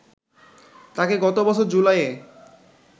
তাঁকে গত বছর জুলাইয়ে